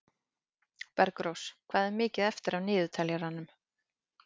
Bergrós, hvað er mikið eftir af niðurteljaranum?